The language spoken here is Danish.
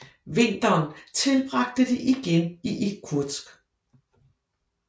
Vinteren tilbragte de igen i Irkutsk